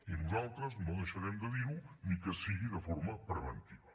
i nosaltres no deixarem de dir ho ni que sigui de forma preventiva